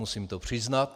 Musím to přiznat.